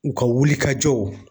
U ka wulikajɔw